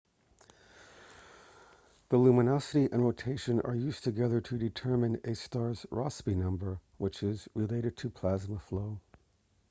the luminosity and rotation are used together to determine a star's rossby number which is related to plasma flow